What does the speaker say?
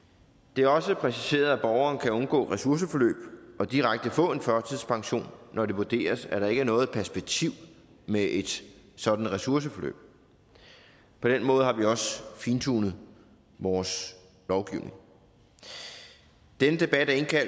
det er også præciseret at borgeren kan undgå ressourceforløb og direkte få en førtidspension når det vurderes at der ikke er noget perspektiv med et sådant ressourceforløb på den måde har vi også fintunet vores lovgivning denne debat er